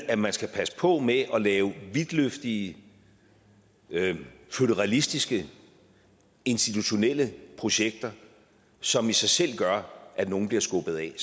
at man skal passe på med at lave vidtløftige føderalistiske institutionelle projekter som i sig selv gør at nogle bliver skubbet af i